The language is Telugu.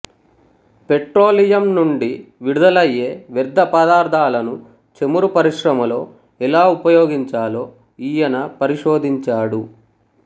పెట్రోలియం నుండి విడుదలయ్యే వ్యర్థ పదార్ధాలను చమురు పరిశ్రమలో ఎలా ఉపయోగించాలో ఈయన పరిశోధించాడు